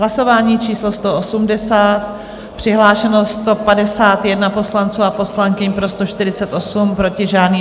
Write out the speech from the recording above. Hlasování číslo 180, přihlášeno 151 poslanců a poslankyň, pro 148, proti žádný.